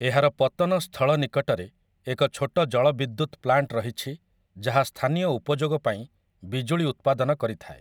ଏହାର ପତନ ସ୍ଥଳ ନିକଟରେ ଏକ ଛୋଟ ଜଳବିଦ୍ୟୁତ ପ୍ଳାଣ୍ଟ ରହିଛି ଯାହା ସ୍ଥାନୀୟ ଉପଯୋଗ ପାଇଁ ବିଜୁଳି ଉତ୍ପାଦନ କରିଥାଏ ।